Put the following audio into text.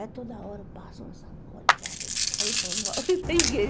É toda hora, passa uma sacola e cada dia... Aí eu falo mal da igreja.